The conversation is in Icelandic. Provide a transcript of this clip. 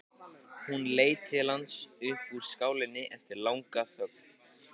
Hún leit til hans upp úr skálinni eftir langa þögn.